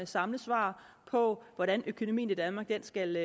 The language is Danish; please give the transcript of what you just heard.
samlet svar på hvordan økonomien i danmark skal